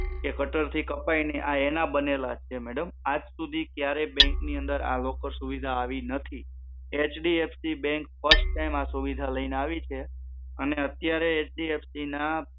કે કટર થી કપાય નહિ આ એના બનેલા છે madam, આજ સુધી ક્યારેય bank ની અંદર locker સુવિધા આવી નથી HFDC બેંક first time આ સુવિધા લઈને આવી છે અને HFDC અત્યારે ના